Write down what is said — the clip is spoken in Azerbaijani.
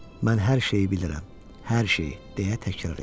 Mən hər şeyi bilirəm, hər şeyi, deyə təkrar etdim.